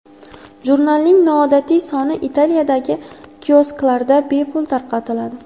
Jurnalning noodatiy soni Italiyadagi kiosklarda bepul tarqatiladi.